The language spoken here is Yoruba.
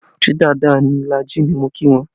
Ṣé dáadáa la jí ni mo kí wọn